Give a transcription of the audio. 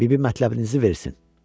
Bibi mətləbinizi versin.